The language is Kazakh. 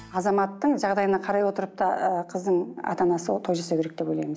азаматтың жағдайына қарай отырып та ыыы қыздың ата анасы той жасау керек деп ойлаймын